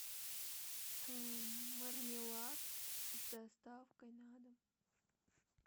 мармелад с доставкой на дом